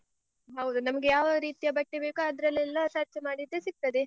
ಹೌದು ನಮ್ಗೆ ಯಾವ ರೀತಿಯ ಬಟ್ಟೆ ಬೇಕೋ ಅದ್ರಲ್ಲೆಲ್ಲ search ಮಾಡಿದ್ರೆ ಸಿಗ್ತದೆ.